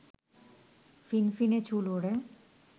ফিনফিনে চুল ওড়ে